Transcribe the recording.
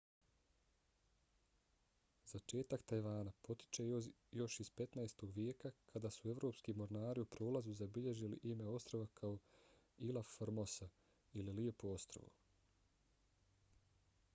začetak tajvana potiče još iz 15. vijeka kad su evropski mornari u prolazu zabilježili ime ostrva kao ilha formosa ili lijepo ostrvo